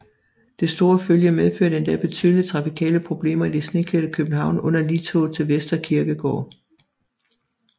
Det store følge medførte endda betydelige trafikale problemer i det sneklædte København under ligtoget til Vestre Kirkegård